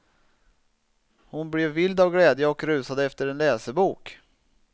Hon blev vild av glädje och rusade efter en läsebok.